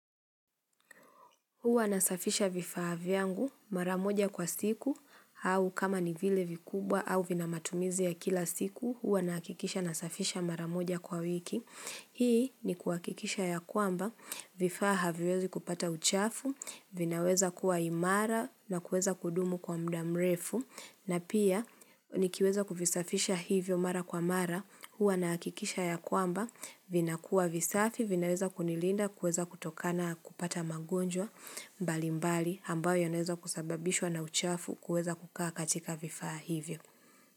Huwa nasafisha vifaa vyangu mara moja kwa siku au kama ni vile vikubwa au vina matumizi ya kila siku huwa nahakikisha nasafisha mara moja kwa wiki. Hii ni kuhakikisha ya kwamba vifaa haviwezi kupata uchafu vinaweza kuwa imara na kuweza kudumu kwa mda mrefu na pia nikiweza kuvisafisha hivyo mara kwa mara huwa nahakikisha ya kwamba vinakuwa visafi vinaweza kunilinda kuweza kutokana kupata magonjwa. Mbali mbali ambayo yanaweza kusababishwa na uchafu kuweza kukaa katika vifaa hivyo.